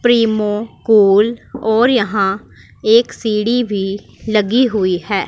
प्रीमोकॉल और यहां एक सीढ़ी भी लगी हुई है।